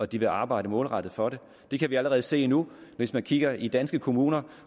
de vil arbejde målrettet for det det kan vi allerede se nu hvis man kigger i danske kommuner